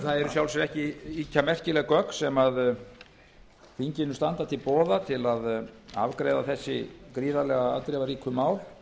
sjálfu sér ekki ýkja merkileg gögn sem þinginu standa til boða við að afgreiða þessi gríðarlega afdrifaríku mál